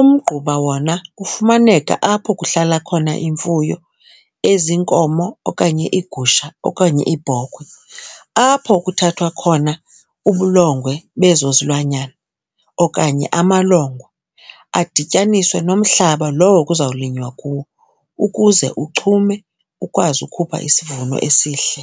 Umgquba wona ufumaneka apho kuhlala khona imfuyo eziinkomo okanye iigusha okanye iibhokhwe. Apho kuthathwa khona ubulongwe bezo zilwanyana okanye amalongwe adityaniswe nomhlaba lowo kuzawulinywa kuwo ukuze uchume ukwazi ukhupha isivuno esihle.